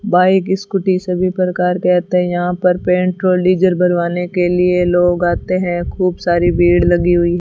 bike scooty सभी प्रकार के आते हैं यहां पर पेट्रोल डीजल भरवाने के लिए लोग आते हैं खूब सारी भीड़ लगी हुई --